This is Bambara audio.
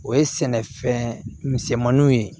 O ye sɛnɛfɛn misɛnmaninw ye